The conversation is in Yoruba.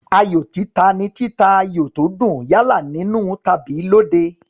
Ayò títa ni títa ayò tó dùn, yálà nínú tàbí lóde.